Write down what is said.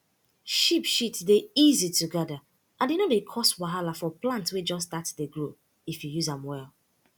sheep shit dey easy to gather and e no dey cause wahala for plant wey just start dey grow if you use am well